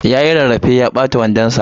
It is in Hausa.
Yayi rarrafe ya ɓata wandon sa.